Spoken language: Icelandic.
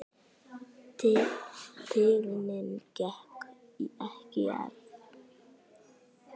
Tignin gekk ekki í arf.